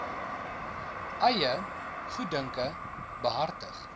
eie goeddunke behartig